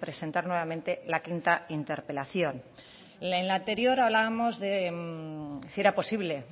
presentar nuevamente la quinta interpelación en la anterior hablábamos de si era posible